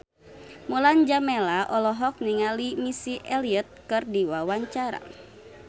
Mulan Jameela olohok ningali Missy Elliott keur diwawancara